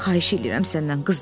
Xahiş edirəm səndən.